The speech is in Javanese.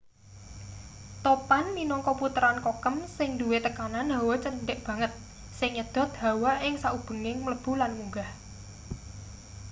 topan minangka puteran kokem sing duwe tekanan hawa cendhek banget sing nyedhot hawa ing saubenging mlebu lan munggah